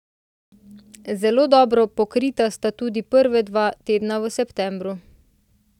Zelo dobro pokrita sta tudi prva dva tedna v septembru.